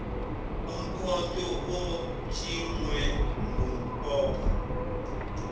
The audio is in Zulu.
umkhonto otshingwe ngumbopha